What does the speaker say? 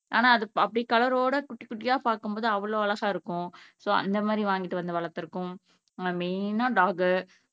ஆனா அது அப்படி கலரோட குட்டி குட்டியா பாக்கும்போது அவ்வளவு அழகா இருக்கும் சோ, அந்த மாதிரி வாங்கிட்டு வந்து வளர்த்திருக்கோம் மெயினா, டாக்